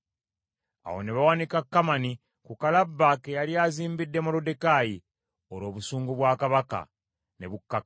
Awo ne bawanika Kamani ku kalabba ke yali azimbidde Moluddekaayi, olwo obusungu bwa kabaka ne bukkakkana.